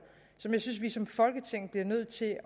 som jeg synes at vi som folketing bliver nødt til at